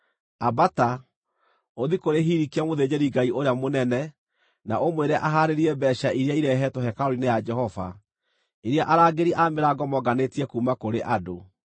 “Ambata, ũthiĩ kũrĩ Hilikia mũthĩnjĩri-Ngai ũrĩa mũnene na ũmwĩre ahaarĩrie mbeeca iria irehetwo hekarũ-inĩ ya Jehova, iria arangĩri a mĩrango monganĩtie kuuma kũrĩ andũ.